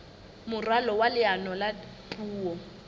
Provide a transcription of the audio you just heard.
moralo wa leano la puo